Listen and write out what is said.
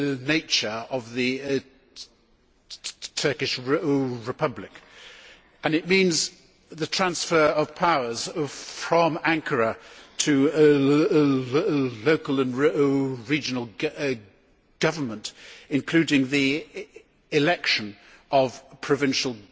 nature of the Turkish Republic, and that means the transfer of powers from Ankara to local and regional government, including the election of provincial